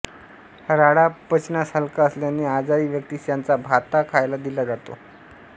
राळा पचनास हलका असल्याने आजारी व्यक्तिस याचा भात खायला दिला जातो